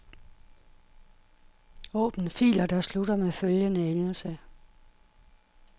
Åbn filer der slutter med følgende endelse.